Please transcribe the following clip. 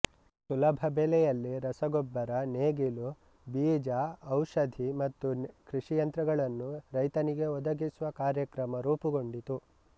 ಸುಲಭ ಬೆಲೆಯಲ್ಲಿ ರಸಗೊಬ್ಬರ ನೇಗಿಲು ಬೀಜ ಔಷಧಿ ಮತ್ತು ಕೃಷಿಯಂತ್ರಗಳನ್ನು ರೈತನಿಗೆ ಒದಗಿಸುವ ಕಾರ್ಯಕ್ರಮ ರೂಪುಗೊಂಡಿತು